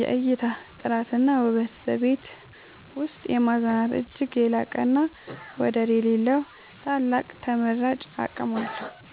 የእይታ ጥራትና ውበት በቤት ውስጥ የማዝናናት እጅግ የላቀና ወደር የሌለው ታላቅ ተመራጭ አቅም አለው።